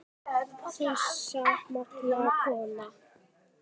Þessi magnaða kona.